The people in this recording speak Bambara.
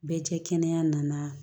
Bɛɛ kɛ kɛnɛya nana